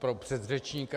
Pro předřečníka.